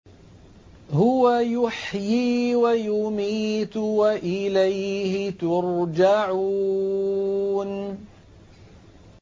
هُوَ يُحْيِي وَيُمِيتُ وَإِلَيْهِ تُرْجَعُونَ